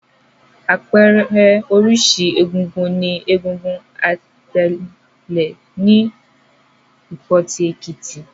Àpẹẹrẹ oríṣi egúngún ni egúngún Atèlè ní Ìpotì, Èkìtì.